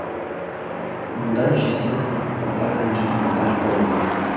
мұнда жүзден астам кітаптар мен журналдар қойылған